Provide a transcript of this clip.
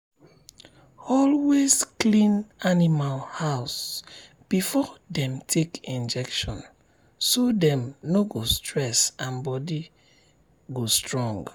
always clean animal house before dem take injection so dem no go stress and body go strong.